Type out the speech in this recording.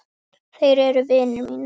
Þeir eru vinir mínir.